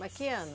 Mas que ano?